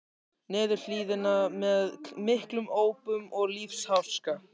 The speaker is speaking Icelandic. niður hlíðina með miklum ópum og lífsháska.